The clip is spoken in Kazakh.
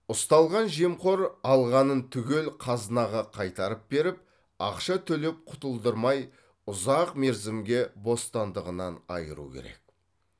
ұсталған жемқор алғанын түгел қазынаға қайтарып беріп ақша төлеп құтылдырмай ұзақ мерзімге бостандығынан айыру керек